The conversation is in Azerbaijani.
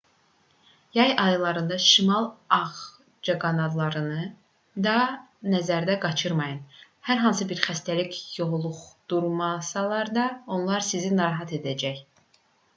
yay aylarında şimal ağcaqanadlarını da nəzərdən qaçırmayın hər hansı bir xəstəlik yoluxdurmasalar da onlar sizi narahat edəcək